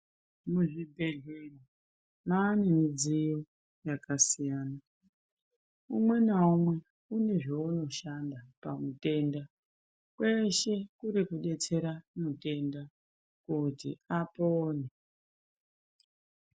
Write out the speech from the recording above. Muzvibhedhlera maane mudziyo yakasiyana umwe naumwe unezveunoshanda pamutenda kweshe kuri kudetsera mutenda kuti apone.